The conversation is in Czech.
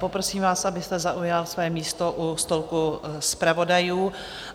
Poprosím vás, abyste zaujal své místo u stolku zpravodajů.